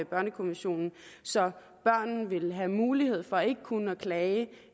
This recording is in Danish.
børnekommissionen så børn vil have mulighed for ikke kun at klage